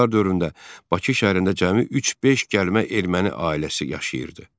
Xanlıqlar dövründə Bakı şəhərində cəmi üç-beş gəlmə erməni ailəsi yaşayırdı.